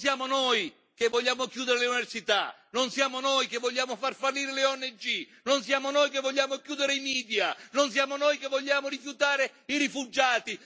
Non siamo noi che vogliamo chiudere le università, non siamo noi che vogliamo far fallire le ONG, non siamo noi che vogliamo chiudere i media, non siamo noi che vogliamo rifiutare i rifugiati!